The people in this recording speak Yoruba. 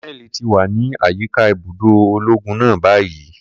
Koneli ti wa ni ayika ibudo ologun náà bayi.